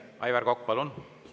Aivar Kokk, palun!